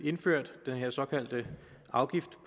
indført den her såkaldte afgift